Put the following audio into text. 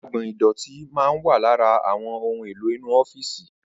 Agbò̩n ìdò̩tí máa ń wà lára àwo̩n ohun èlò inú ó̩fíìsì